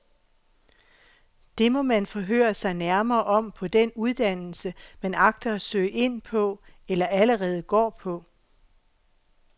Det må man forhøre sig nærmere om på den uddannelse, man agter at søge ind på eller allerede går på.